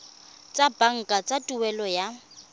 tsa banka tsa tuelo ya